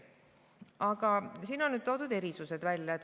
Aga siin on toodud erisused välja.